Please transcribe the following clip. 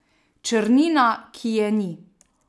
Črnina, ki je ni.